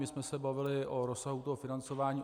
My jsme se bavili o rozsahu toho financování.